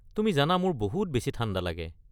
তুমি জানা মোৰ বহুত বেছি ঠাণ্ডা লাগে।